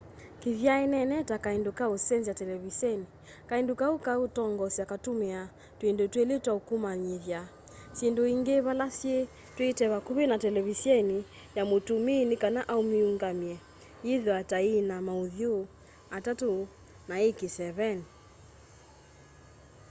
kithyanene ta kaindo ka usenzya televiseni kaindo kau ka utongoesya katumiaa twindu twili twa ukamanyithya syindu ingi vala syii twiitwe vakuvi na televiseni ya mutumii ni kana amiungamye yithiwe ta iina mauthyu atatu na ii kiseveni